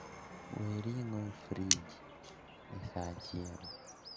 Wee ring'o e frij e saa achiel